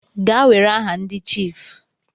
Gaa were aha ndi chiifu.